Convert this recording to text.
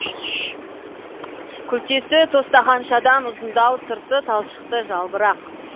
күлтесі тостағаншадан ұзындау сырты талшықты жалбырақ